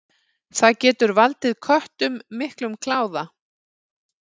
Það getur valdið köttum miklum kláða.